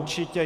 Určitě.